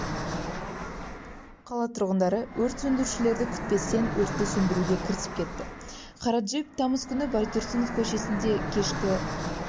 қала тұрғындары өрт сөндірушілерді күтпестен өртті сөндіруге кірісіп кетті қара джип тамыз күні байтұрсынов көшесінде кешкі